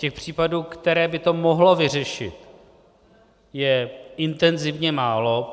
Těch případů, které by to mohlo vyřešit, je intenzivně málo.